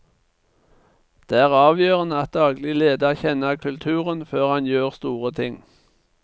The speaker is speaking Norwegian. Det er avgjørende at daglig leder kjenner kulturen før han gjør store ting.